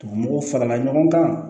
Mɔgɔw farala ɲɔgɔn kan